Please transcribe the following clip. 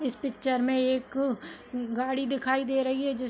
इस पिक्चर में एक गाड़ी दिखाई दे रही है जिस --